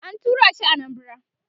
an turashi Anambara